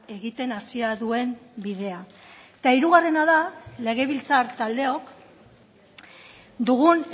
egiten hasia duen bidea eta hirugarrena da legebiltzar taldeok dugun